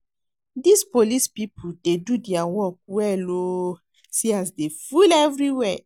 Dis police people dey do their work well oo see as dey full everywhere